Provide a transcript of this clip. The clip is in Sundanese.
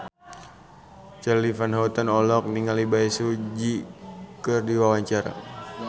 Charly Van Houten olohok ningali Bae Su Ji keur diwawancara